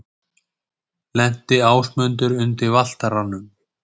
Lenti Ásmundur undir Valtaranum?